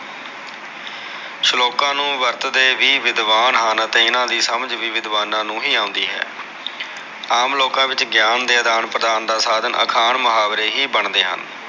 ਸਲੋਕਾ ਨੂ ਵਰਤਦੇ ਵੀ ਵਿਦਵਾਨ ਹਨ ਅਤੇ ਇਹਨਾ ਦੀ ਸਮਝ ਵੀ ਵਿਦਵਾਨਾ ਨੂ ਹੀ ਆਉਂਦੀ ਹੈ ਆਮ ਲੋਕਾ ਵਿਚ ਗਿਆਨ ਦੇ ਆਦਾਨ ਪ੍ਰਦਾਨ ਦਾ ਸਾਧਨ ਅਖਾਣ ਮੁਹਾਵਰੇ ਹੀ ਬਣਦੇ ਹਨ